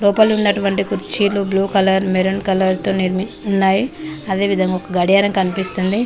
లోపల ఉన్నటువంటి కుర్చీలు బ్లూ కలర్ మెరూన్ కలర్ తో ఉన్నాయి అదేవిధంగా ఒక గడియారం కనిపిస్తుంది.